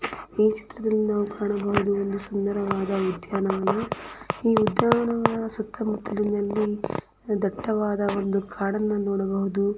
ಈ ಚಿತ್ರದಲ್ಲಿ ನಾವು ಕಾಣಬಹುದು ಒಂದು ಸುಂದರವಾದ ಉದ್ಯಾನವನ ಈ ಉದ್ಯಾನವನದ ಸುತ್ತಮುತ್ತಲಿನಲ್ಲಿ ದಟ್ಟವಾದ ಒಂದು ಕಾಡನ್ನು ನೋಡಬಹುದು.